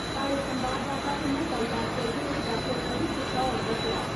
साहड़े संवाददाता कन्नै गल्लबात करदे होई डाक्टर अजय गुप्ता होरें दस्सेआ।